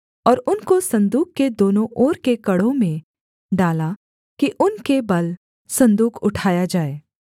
और उनको सन्दूक के दोनों ओर के कड़ों में डाला कि उनके बल सन्दूक उठाया जाए